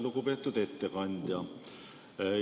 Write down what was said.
Lugupeetud ettekandja!